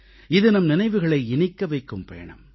இது நம் நினைவுகளை இனிக்க வைக்கும் பயணம்